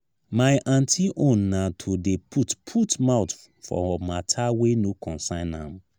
my aunty own na to dey put put mouth for mata wey no concern am.